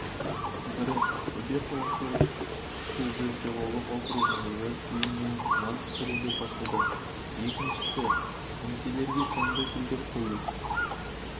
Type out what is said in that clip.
бірі ақтөбе қаласы сазды селолық округіндегі үйінен нан пісіруді бастады екіншісі кеңселерге сәнді гүлдер қою